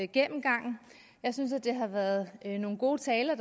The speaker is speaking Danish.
gennemgangen jeg synes at det har været nogle gode taler og